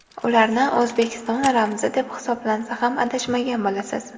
Ularni O‘zbekiston ramzi deb hisoblansa ham adashmagan bo‘lasiz.